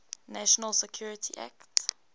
national security act